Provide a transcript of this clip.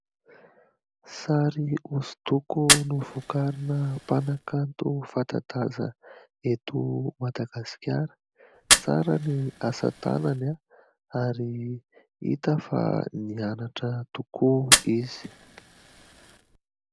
Sary hosodoko novokarina mpanankanto fanta-daza eto Madagasikara. Tsara ny asantanany ary hita fa nianatra tokoa izy.